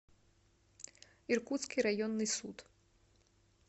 иркутский районный суд